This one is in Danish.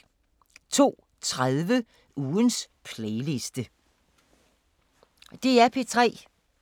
DR P3